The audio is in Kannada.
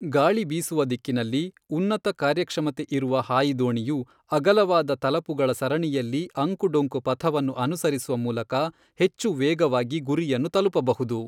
ಗಾಳಿ ಬೀಸುವ ದಿಕ್ಕಿನಲ್ಲಿ, ಉನ್ನತ ಕಾರ್ಯಕ್ಷಮತೆ ಇರುವ ಹಾಯಿ ದೋಣಿಯು ಅಗಲವಾದ ತಲಪುಗಳ ಸರಣಿಯಲ್ಲಿ ಅಂಕುಡೊಂಕು ಪಥವನ್ನು ಅನುಸರಿಸುವ ಮೂಲಕ ಹೆಚ್ಚು ವೇಗವಾಗಿ ಗುರಿಯನ್ನು ತಲುಪಬಹುದು.